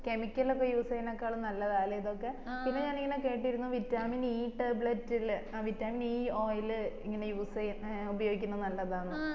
chemical ഒക്കെ use ചെയ്യുന്നതിനെക്കാളും നല്ലതാ അല്ലെ ഇതൊക്കെ പിന്നെ ഞാൻ കേട്ടിരുന്നു vitamin e tablet ല് vitamin e oil ഇങ്ങനെ use ചെയ്യിന്നെ ഉപയോഗിക്കുന്നെ നല്ലതാ